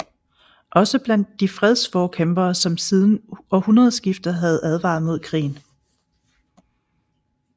Også blandt de fredsforkæmpere som siden århundredeskiftet havde advaret mod krigen